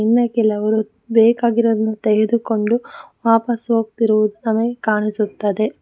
ಇನ್ನ ಕೆಲವರು ಬೇಕಾಗಿರುವುದನ್ನು ತೆಗೆದುಕೊಂಡು ವಾಪಾಸ್ ಹೋಗ್ತಿರುವುದು ನಮಗೆ ಕಾಣಿಸುತ್ತದೆ.